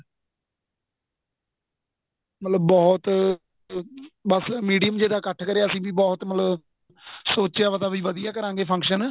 ਮਤਲਬ ਬਹੁਤ ਬੱਸ medium ਜ਼ੇ ਦਾ ਇੱਕਠ ਕਰਿਆ ਅਸੀਂ ਵੀ ਬਹੁਤ ਮਤਲਬ ਸੋਚਿਆ ਪਤਾ ਵੀ ਵਧੀਆ ਕਰਾਗੇ function